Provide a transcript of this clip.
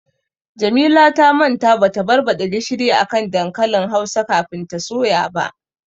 Jamila ta manta bata barbaɗa gishiri a dankalin hausa kafin ta soya ba.